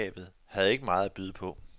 Gæstemandskabet havde ikke meget at byde på.